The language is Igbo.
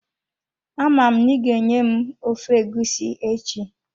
Ama m n'iga-enye m ofe egusi echi.